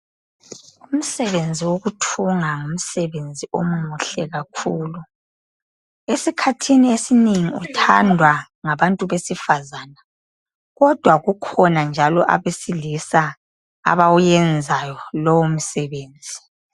Umsebenzi wokuthunga ngumsebenzi omuhle kakhulu esikhathini esinengi uthandwa ngabantu besifazana kodwa kukhona njalo abesilisa abawuyenzayo lowo msebenzi.